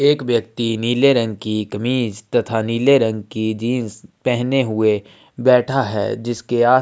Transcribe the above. एक व्यक्ति नीले रंग की कमीज तथा नीले रंग की जींस पेहने हुए बैठा है जिसके आस --